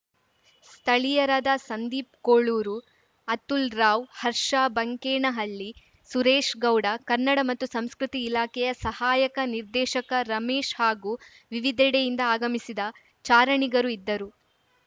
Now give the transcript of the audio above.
ಸ್ಥಳೀಯರಾದ ಸಂದೀಪ್‌ ಕೋಳೂರು ಅತುಲ್‌ ರಾವ್‌ ಹರ್ಷ ಬಂಕೇನಹಳ್ಳಿ ಸುರೇಶ್‌ಗೌಡ ಕನ್ನಡ ಮತ್ತು ಸಂಸ್ಕೃತಿ ಇಲಾಖೆಯ ಸಹಾಯಕ ನಿರ್ದೇಶಕ ರಮೇಶ್‌ ಹಾಗೂ ವಿವಿದೆಡೆಯಿಂದ ಆಗಮಿಸಿದ ಚಾರಣಿಗರು ಇದ್ದರು